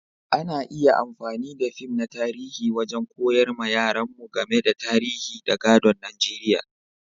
Ana iya amfani da fim na tarihi wajen koyar ma yaran mu game da tarihin da gadon Nijeriya.